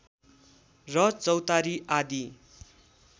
र चौतारी आदी